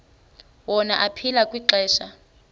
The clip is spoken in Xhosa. wona aphila kwixesha